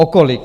O kolik?